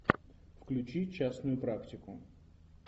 включи частную практику